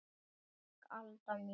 Takk Alda mín.